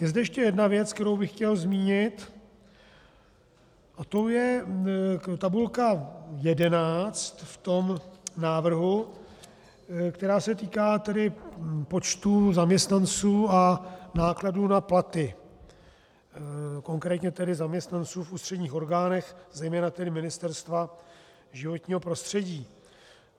Je zde ještě jedna věc, kterou bych chtěl zmínit, a tou je tabulka 11 v tom návrhu, která se týká tedy počtů zaměstnanců a nákladů na platy, konkrétně tedy zaměstnanců v ústředních orgánech, zejména tedy Ministerstva životního prostředí.